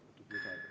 Paluks lisaaega.